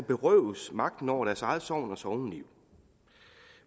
berøves magten over deres eget sogn og sogneliv